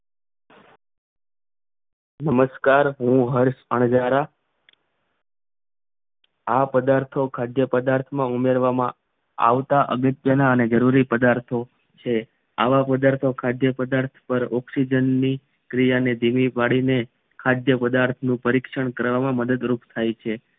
આ પદાર્થો ખાદ્ય પદાર્થો ઉમેરવામાં આવતા અગત્યના અને જરૂરી પદાર્થો છે આવા પદાર્થો ખાધાઈ પદાર્થો ઑક્સીન નીક્રિયાને ધીમી પડીને ખાદ્ય પદાર્થો પરીક્ષણ કરવામાં મદદ રૂપ થઈ છે